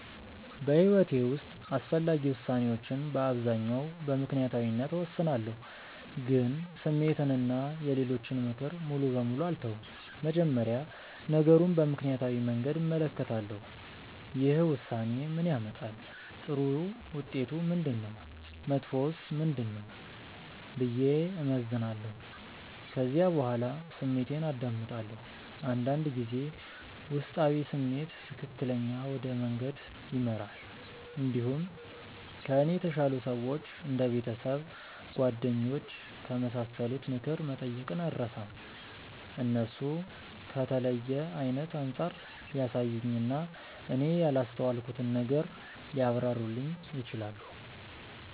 በሕይወቴ ውስጥ አስፈላጊ ውሳኔዎችን በአብዛኛው በምክንያታዊነት እወስናለሁ፣ ግን ስሜትን እና የሌሎችን ምክር ሙሉ በሙሉ አልተውም። መጀመሪያ ነገሩን በምክንያታዊ መንገድ እመለከታለሁ። ይህ ውሳኔ ምን ያመጣል? ጥሩ ውጤቱ ምንድነው? መጥፎውስ ምንድነው? ብዬ እመዝናለሁ። ከዚያ በኋላ ስሜቴን አዳምጣለሁ። አንዳንድ ጊዜ ውስጣዊ ስሜት ትክክለኛ ወደ መንገድ ይመራል። እንዲሁም ከእኔ የተሻሉ ሰዎች እንደ ቤተሰብ፣ ጓደኞች ከመሳሰሉት ምክር መጠየቅን አልርሳም። እነሱ ከተለየ አይነት አንጻር ሊያሳዩኝ እና እኔ ያላስተዋልኩትን ነገር ሊያብራሩልኝ ይችላሉ።